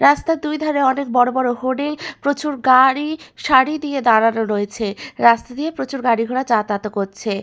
রাস্তার দুইধারে অনেক বড় বড় হোর্ডিং প্রচুর গাড়ি সারি দিয়ে দাঁড়ানো রয়েছে রাস্তা দিয়ে প্রচুর গাড়ি ঘোড়া যাতায়াত ও করছে।